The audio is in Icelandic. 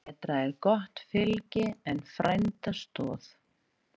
Betra er gott fylgi en frænda stoð.